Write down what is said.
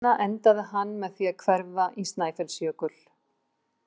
Ævi sína endaði hann með því að hverfa í Snæfellsjökul.